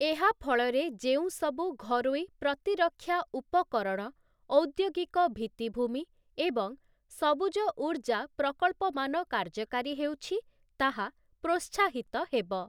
ଏହା ଫଳରେ ଯେଉଁସବୁ ଘରୋଇ ପ୍ରତିରକ୍ଷା ଉପକରଣ, ଔଦ୍ୟୋଗିକ ଭିତ୍ତିଭୂମି ଏବଂ ସବୁଜ ଊର୍ଜ୍ଜା ପ୍ରକଳ୍ପମାନ କାର୍ଯ୍ୟକାରୀ ହେଉଛି ତାହା ପ୍ରୋତ୍ସାହିତ ହେବ ।